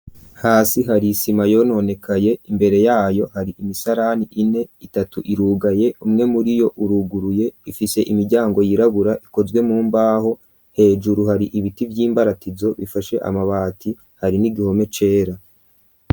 Hasi hari isima yononekaye, imbere yayo hari imisarani ine, itatu irugaye umwe muri yo uruguruye, ifise imiryango yirabura ikozwe mu mbaho. Hejuru hari ibiti vy'imbaratizo bifashe amabati, hari n'igihome cera.